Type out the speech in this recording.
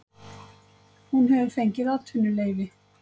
Hún hefur fengið atvinnuleyfi